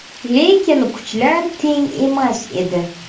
Lekin kuchlar teng emas edi.